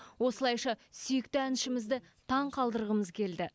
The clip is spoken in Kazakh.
осылайша сүйікті әншімізді таңғалдырғымыз келді